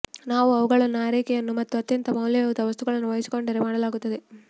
ನಾವು ಅವುಗಳನ್ನು ಆರೈಕೆಯನ್ನು ಮತ್ತು ಅತ್ಯಂತ ಮೌಲ್ಯಯುತ ವಸ್ತುವನ್ನು ವಹಿಸಿಕೊಂಡರು ಮಾಡಲಾಗುತ್ತದೆ